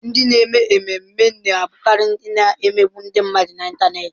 Ndị na-eme ememme na-abụkarị ndị a na-emegbu ndị mmadụ n'Ịntanet.